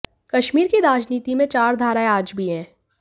कश्मीर की राजनीति में चार धाराएं आज भी हैं